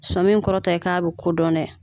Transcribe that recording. Sɔmi in kɔrɔ tɛ k'a bɛ kodɔn dɛ